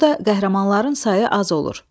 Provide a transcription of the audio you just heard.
Burada qəhrəmanların sayı az olur.